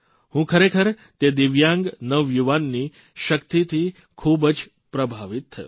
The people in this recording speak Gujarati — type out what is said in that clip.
હું ખરેખર તે દિવ્યાંગ નવયુવાનની શક્તિથી ખૂબ જ પ્રભાવિત થયો